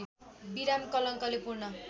विराम कलङ्कले पूर्ण